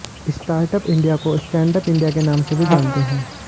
startup India को Standup India के नाम से भी जानते हैं